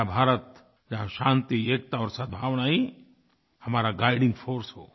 नया भारत जहाँ शांति एकता और सद्भावना ही हमारा गाइडिंग फोर्स हो